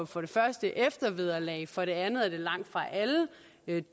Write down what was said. for det første eftervederlag og for det andet er det langtfra alle